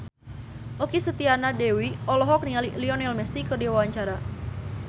Okky Setiana Dewi olohok ningali Lionel Messi keur diwawancara